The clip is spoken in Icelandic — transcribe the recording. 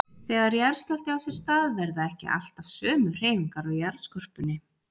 Þegar jarðskjálfti á sér stað verða ekki alltaf sömu hreyfingar á jarðskorpunni.